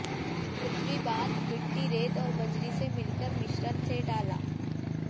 पृथ्वी बांध मिट्टी रेत और बजरी से मिलकर मिश्रण से डाला